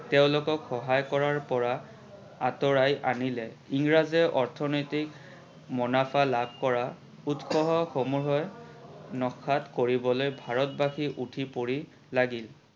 তেওলোকক সহায় কৰাৰ পৰা আতৰাই আনিলে। ইংৰাজে অৰ্থনৈতিক মোনাফা লাভ কৰা উৎস সমূহৰ কৰিবলৈ ভাৰতবাসী উঠি পৰি লাগিল।